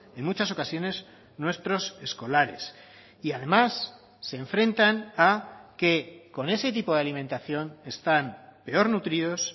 en muchas ocasiones nuestros escolares y además se enfrentan a que con ese tipo de alimentación están peor nutridos